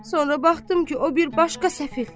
Sonra baxdım ki, o bir başqa səfil.